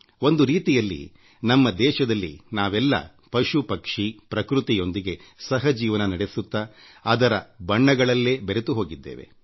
ಒಂದು ರೀತಿಯಲ್ಲಿ ನಮ್ಮ ದೇಶದಲ್ಲಿ ನಾವೆಲ್ಲ ಪಶು ಪಕ್ಷಿ ಪ್ರಕೃತಿಯೊಂದಿಗೆ ಸಹಜೀವನ ನಡೆಸುತ್ತಾ ಅದರಲ್ಲಿ ಬೆರೆತು ಹೋಗಿದ್ದೇವೆ